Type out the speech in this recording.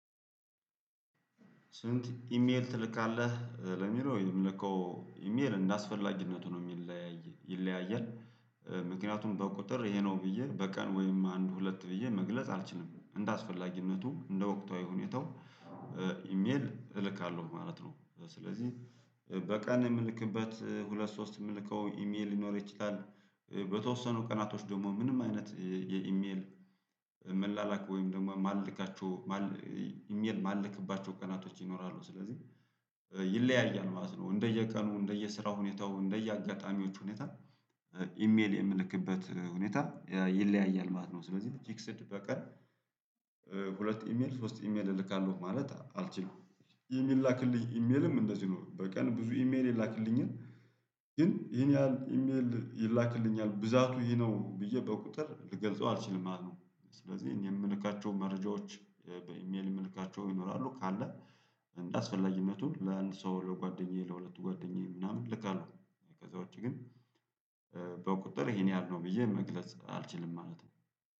ስንት? ኢሜል ትልካለህ ለሚለው የምልከው ኢሜል እንደአስፈላጊነቱ ነው የሚለያይ ይለያያል ምክንያቱም በቁጥር ይሄ ነው ብዬ በቀን ወይም አንድ ሁለት ብዬ መግለጽ አልችልም እንደ አስፈላጊነቱ እንደ ወቅታዊ ሁኔታው ኢሜል እልካለሁ ማለት ነው። ስለዚህ በቀን የምልክበት ሁለት ሶስት የምልከው ኢሜል ሊኖር ይችላል። በተወሰኑ ቀናቶች ደግሞ ምንም አይነት የኢሜል መላላክ ወይም ደግሞ ማልካቸው ማል ኢሜል ማልክባቸው ቀናቶች ይኖራሉ ስለዚህ ይለያያል ማለት ነው። እንደየቀኑ እንደየስራ ሁኔታው እንደየአጋጣሚዎቹ ሁኔታ ኢሜል የምልክበት ሁኔታ ይለያያል ማለት ነው። ስለዚህ ፍክስድ በቀን ሁለት ኢሜል ሶስት ኢሜል እልካለሁ ማለት አልችልም። ኢሜል የምላክልኝ ኢሜልም እንደዚህ ነው በቀን ብዙ ኢሜል የላክልኝን ግን ይሄን ያህል ኢሜል ይላክልኛል ብዛቱ ይሄ ነው ብዬ በቁጥር ልገልጸው አልችልም ማለት ነው። ስለዚህ እኔ የምልካቸው መረጃዎች በኢሜል የምልካቸው ይኖራሉ ካለ እንዳስፈላጊ ለአንድ ሰው ለጓደኛዬ ለሁለቱ ጓደኛዬ ምናምን ልካለሁ። ከዛ ውጪ ግን በቁጥር ይሄን ያህል ነው ብዬ መግለጽ አልችልም ማለት ነው።